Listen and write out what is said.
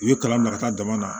U ye kalan bila ka taa jama na